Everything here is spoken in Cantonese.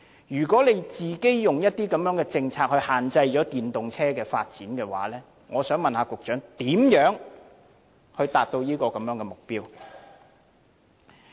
如果政府以自己的政策限制了電動車的發展，我想問局長如何達標？